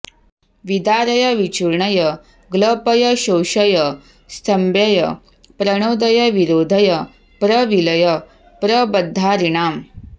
विदारय विचूर्णय ग्लपय शोषय स्तम्भय प्रणोदय विरोधय प्रविलय प्रबद्धारिणाम्